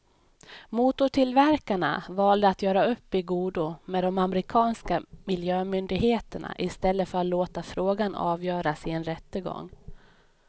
Motortillverkarna valde att göra upp i godo med de amerikanska miljömyndigheterna i stället för att låta frågan avgöras i en rättegång.